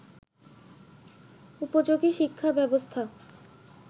উপযোগী শিক্ষাব্যবস্থা